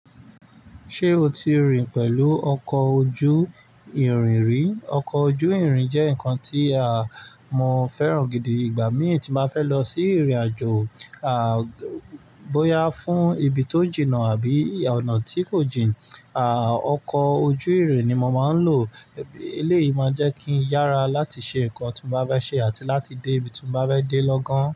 Ṣé o ti rìn pẹ̀lú ọkọ̀ ojú ìrìn rí? Ọkọ̀ ojú ìrìn jẹ́ nǹkan tí a mo fẹ́ràn gidi. Ìgbà mí tí ma fẹ́ lọ sí ìrìnàjò, à, bóyá fún ibi tó jìnà àbí ọ̀nà tí kò jìn, à, ọkọ̀ ojú ìrìn ni mo ma ń lò. Eléyìí ma jẹ́ kí n yára láti ṣe nǹkan tí mo bá fẹ́ ṣe àti láti dé ibi tí mo bá fẹ́ dé lọ́gán.